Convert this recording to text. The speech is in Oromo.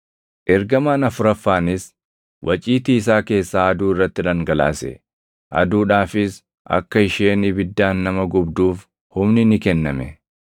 Ergamaan afuraffaanis waciitii isaa keessaa aduu irratti dhangalaase; aduudhaafis akka isheen ibiddaan nama gubduuf humni ni kenname.